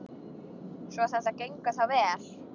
Svo þetta gengur þá vel?